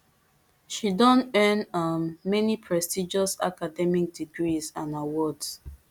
she don earn um many prestigious academic degrees and awards